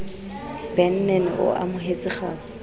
ben nene o amohetse kgau